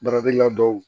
Baaradegɛla dɔw